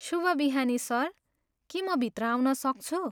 शुभ बिहानी सर, के म भित्र आउन सक्छु?